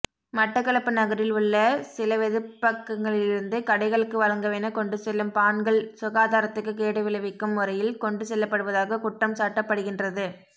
மட்டக்களப்பு நகரில் உள்ள சிலவெதுப்பகங்களிலிருந்து கடைகளுக்கு வழங்கவென கொண்டு செல்லும் பாண்கள் சுகாதாரத்துக்கு கேடுவிளைவிக்கும் முறையில் கொண்டுசெல்லப்படுவதாக குற்றம் சாட்டப்படுகின்றது